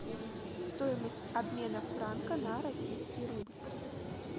стоимость обмена франка на российский рубль